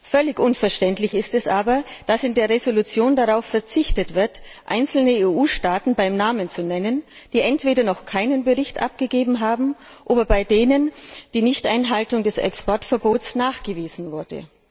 Völlig unverständlich ist aber, dass in der Entschließung darauf verzichtet wird, einzelne EU Staaten beim Namen zu nennen, die entweder noch keinen Bericht abgegeben haben oder bei denen die Nichteinhaltung des Exportverbots nachgewiesen wurde.